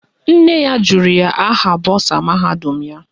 Nne ya jụrụ ya aha bọsa mahadum ya.